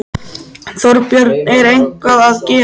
Þorbjörn: Er eitthvað að gerast?